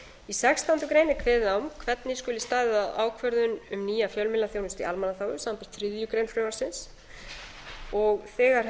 í sextándu grein er kveðið á um hvernig skuli staðið að ákvörðun um nýja fjölmiðlaþjónustu í almannaþágu samanber þriðju greinar frumvarpsins þegar hef